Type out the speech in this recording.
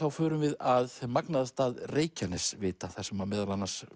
förum við að magnaða stað Reykjanesvita þar sem meðal annars